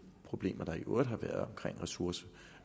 problemer der i øvrigt har været omkring ressourcemangel